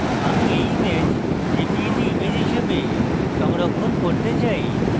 আমি এই image jpeg image হিসাবে সংরক্ষণ করতে চাই